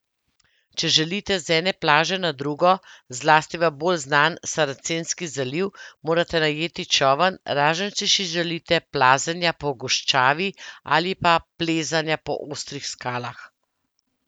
Če želite z ene plaže na drugo, zlasti v bolj znan Saracenski zaliv, morate najeti čoln, razen če si želite plazenja po goščavi ali pa plezanja po ostrih skalah.